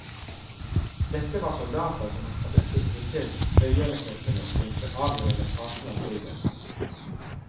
Dette var soldater som hadde sluttet seg til frigjøringstyrkene i den avgjørende fasen av krigen.